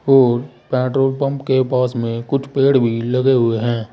Petrol pump के पास में कुछ पेड़ भी लगे हुए हैं।